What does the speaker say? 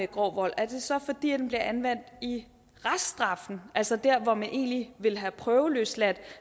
grov vold er det så fordi den bliver anvendt i reststraffen altså der hvor man egentlig ville have prøveløsladt